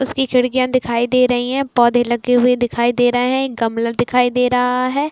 उसकी खिड़किया दिखाई दे रही है पौधे लगे हुए दिखाई दे रहे है गमला दिखाई दे रहा है।